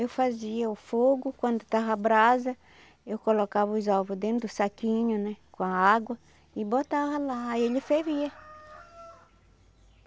Eu fazia o fogo, quando estava a brasa, eu colocava os ovos dentro do saquinho né, com a água, e botava lá e ele fervia.